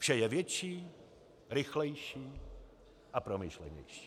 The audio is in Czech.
Vše je větší, rychlejší a promyšlenější.